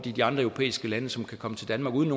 i de andre europæiske lande som kan komme til danmark uden